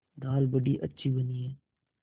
दाल बड़ी अच्छी बनी है